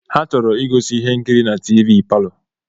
Ha chọrọ igosi ihe nkiri na tiivi palọ.